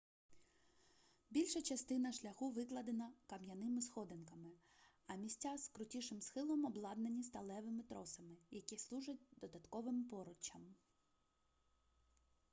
більша частина шляху викладена кам'яними сходинками а місця з крутішим схилом обладнані сталевими тросами які служать додатковим поруччям